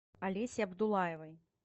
алесе абдуллаевой